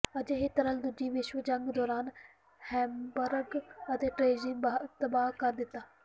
ਅਜਿਹੇ ਤਰਥੱਲ ਦੂਜੀ ਵਿਸ਼ਵ ਜੰਗ ਦੌਰਾਨ ਹੈਮਬਰਗ ਅਤੇ ਡ੍ਰੇਜ਼੍ਡਿਨ ਤਬਾਹ ਕਰ ਦਿੱਤਾ